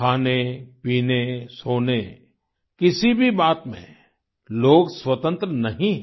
खानेपीने सोने किसी भी बात में लोग स्वतन्त्र नहीं है